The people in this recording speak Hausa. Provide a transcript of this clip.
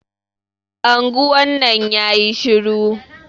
Anguwan nan yayi shiru.